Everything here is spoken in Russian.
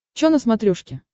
чо на смотрешке